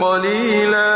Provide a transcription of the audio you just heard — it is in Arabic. قَلِيلًا